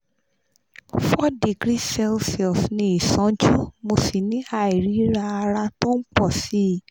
four degree celsius ní ìsánjú mo sì ní àìríra ara tó ń pọ̀ sí i